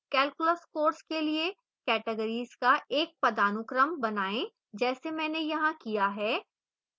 calculus course के लिए categories का एक पदानुक्रम बनाएं जैसे मैंने यहां किया है